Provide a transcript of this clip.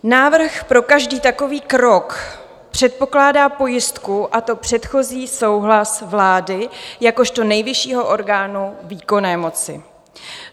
Návrh pro každý takový krok předpokládá pojistku, a to předchozí souhlas vlády jakožto nejvyššího orgánu výkonné moci.